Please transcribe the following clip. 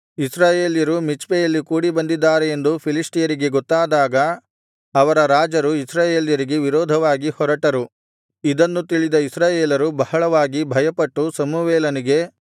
ಇಸ್ರಾಯೇಲ್ಯರು ಮಿಚ್ಪೆಯಲ್ಲಿ ಕೂಡಿಬಂದಿದ್ದಾರೆ ಎಂದು ಫಿಲಿಷ್ಟಿಯರಿಗೆ ಗೊತ್ತಾದಾಗ ಅವರ ರಾಜರು ಇಸ್ರಾಯೇಲ್ಯರಿಗೆ ವಿರೋಧವಾಗಿ ಹೊರಟರು ಇದನ್ನು ತಿಳಿದ ಇಸ್ರಾಯೇಲರು ಬಹಳವಾಗಿ ಭಯಪಟ್ಟು ಸಮುವೇಲನಿಗೆ